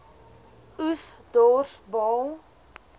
oes dors baal